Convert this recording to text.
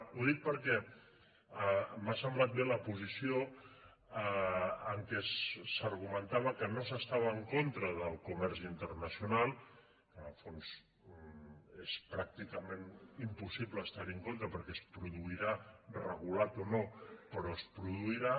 ho dic perquè m’ha semblat bé la posició en què s’argumentava que no s’estava en contra del comerç internacional en el fons és pràcticament impossible estar hi en contra perquè es produirà regulat o no però es produirà